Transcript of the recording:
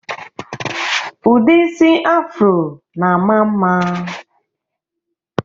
Ụdị isi Afro na-ama mma